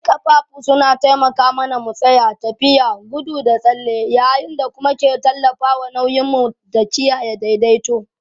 Ƙafafu suna taimaka mana mu tsaya, tafiya, gudu da tsalle yayin da kuma ke tallafawa nauyin mu da kiyaye daidaito.